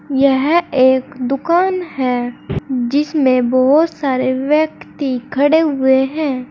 यह एक दुकान है जिसमें बहोत सारे व्यक्ति खड़े हुए हैं।